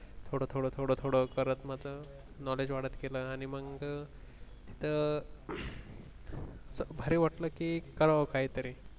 थोडं थोडं थोडं थोडं करत माझं knowledge वाढत गेलो आणि मग तिथं भारी वाटलं की करावं काहीतरी